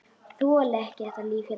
Þoli ekki þetta líf hérna.